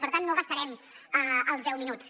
per tant no gastarem els deu minuts